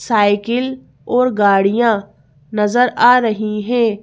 Cycle और गाड़ियां नजर आ रही हैं।